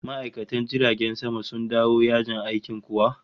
Ma'aikatan jiragen sama sun dawo yajin aikin kuwa?